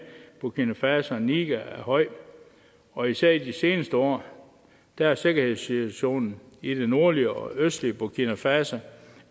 burkina faso og niger er høj og især i de seneste år har sikkerhedssituationen i det nordlige og østlige burkina faso